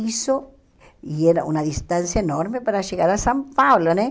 Isso... E era uma distância enorme para chegar a São Paulo, né?